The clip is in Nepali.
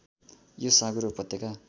यो साँगुरो उपत्यका